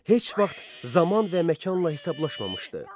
Heç vaxt zaman və məkanla hesablaşmamışdı.